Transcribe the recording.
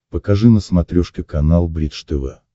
покажи на смотрешке канал бридж тв